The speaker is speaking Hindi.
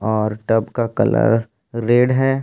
और टब का कलर रेड है।